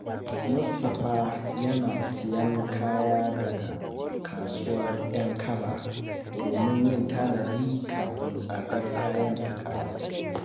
Iyalan Garba sun sayi janareta daga babban kanti don guje wa matsalar wutar lantarki.